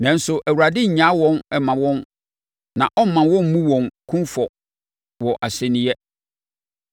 nanso, Awurade nnyaa wɔn mma wɔn na ɔremma wɔmmu wɔn kumfɔ wɔ asɛnniiɛ.